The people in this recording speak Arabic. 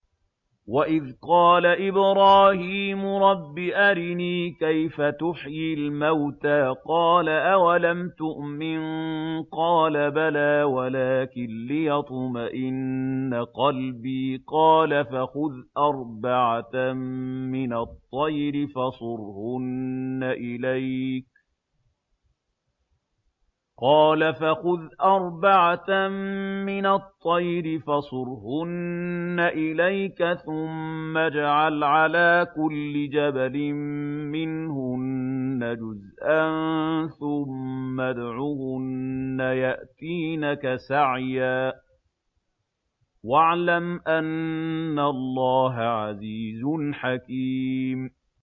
وَإِذْ قَالَ إِبْرَاهِيمُ رَبِّ أَرِنِي كَيْفَ تُحْيِي الْمَوْتَىٰ ۖ قَالَ أَوَلَمْ تُؤْمِن ۖ قَالَ بَلَىٰ وَلَٰكِن لِّيَطْمَئِنَّ قَلْبِي ۖ قَالَ فَخُذْ أَرْبَعَةً مِّنَ الطَّيْرِ فَصُرْهُنَّ إِلَيْكَ ثُمَّ اجْعَلْ عَلَىٰ كُلِّ جَبَلٍ مِّنْهُنَّ جُزْءًا ثُمَّ ادْعُهُنَّ يَأْتِينَكَ سَعْيًا ۚ وَاعْلَمْ أَنَّ اللَّهَ عَزِيزٌ حَكِيمٌ